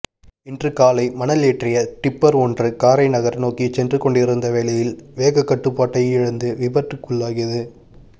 இன்று காலை மணல் ஏற்றிய டிப்பர் ஒன்று காரைநகர் நோக்கிப் சென்று கொண்டிருந்த வேளையில் வேகக்கட்டுப்பாட்டை இழந்து விபத்துக்குள்ளாகியுள்ளது